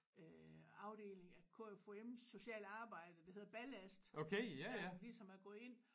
Øh afdeling af KFUM social arbejde der hedder ballast ja ligesom at gå ind